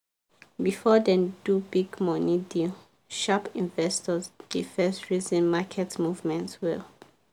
before dem do big money deal sharp investors dey first reason market movement well.